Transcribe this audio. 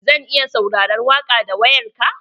Zan iya sauraron waƙa da wayar ka?